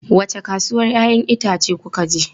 Wace kasuwan 'ya'yan itace kuka je?